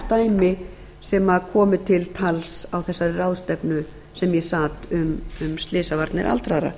dæmi sem komu til tals á þessari ráðstefnu sem ég sat um slysavarnir aldraðra